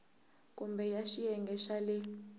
kumbe ya xiyenge xa le